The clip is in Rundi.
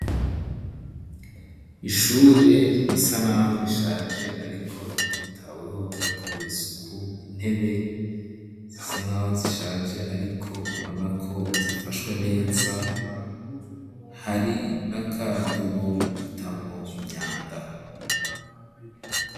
Ishure risa naho rishaje, ariko vyitaweho ,ryakorewe isuku ,intebe zisa nkaho zishaje, ariko ubona ko zifashwe neza, hari n'akadobo batamwo imyanda.